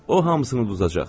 O hamısını uduzacaq.